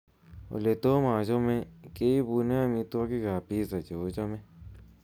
oletomm achome keibunon omitwogik ab pizza cheochome